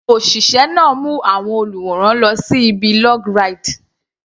Òṣìṣẹ́ náà mú àwọn olùwòran lọ sí ibi log ride.